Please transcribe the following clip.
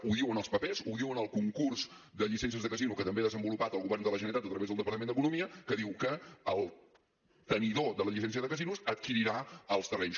ho diuen els papers ho diu en el concurs de llicències de casino que també ha desenvolupat el govern de la generalitat a través del departament d’economia que diu que el tenidor de la llicència de casinos adquirirà els terrenys